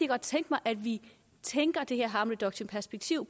godt tænke mig at vi tænker det her harm reduction perspektiv